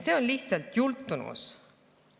See on lihtsalt jultumus.